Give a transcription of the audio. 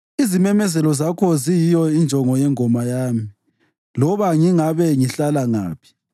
Izimemezelo zakho ziyiyo injongo yengoma yami loba ngingabe ngihlala ngaphi